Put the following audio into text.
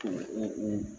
A bɛ